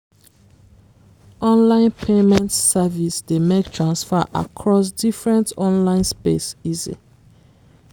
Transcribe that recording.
online payment service dey make transfer accross different online space easy